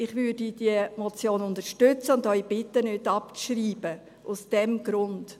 – Ich werde diese Motion unterstützen und bitte Sie, nicht abzuschreiben – aus diesem Grund.